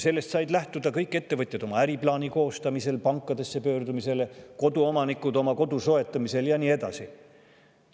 Sellest said lähtuda kõik ettevõtjad oma äriplaani koostamisel, pankadesse pöördumisel, koduomanikud oma kodu soetamisel ja nii edasi.